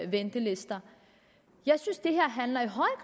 ventelister jeg synes